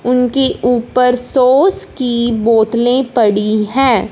उनके ऊपर सॉस की बोतलें पड़ी हैं।